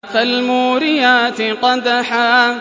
فَالْمُورِيَاتِ قَدْحًا